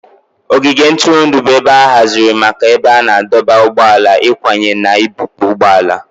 Ogige ntụrụndụ bụ ebe a haziri maka ebe a na-adọba ụgbọala, ịkwanye na ibupu ụgbọ ala